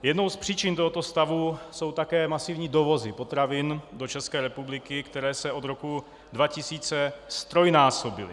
Jednou z příčin tohoto stavu jsou také masivní dovozy potravin do České republiky, které se od roku 2000 ztrojnásobily.